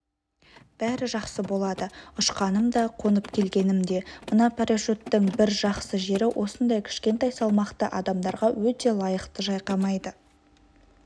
бәрі жақсы болды ұшқаным да қонып келгенім де мына парашюттің бір жақсы жері осындай кішкентай салмақты адамдарға өте лайықты шайқамайды